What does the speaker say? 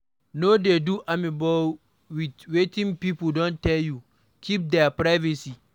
No dey do amebo with wetin pipo don tell you, keep their privacy